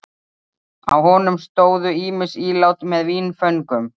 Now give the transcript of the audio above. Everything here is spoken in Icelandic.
Á honum stóðu ýmis ílát með vínföngum.